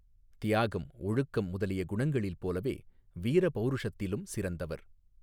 தியாகம் ஒழுக்கம் முதலிய குணங்களில் போலவே வீரபௌருஷத்திலும் சிறந்தவர்.